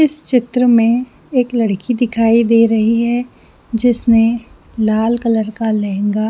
इस चित्र मे एक लड़की दिखाई दे रही है जिसने लाल कलर का लेहँगा --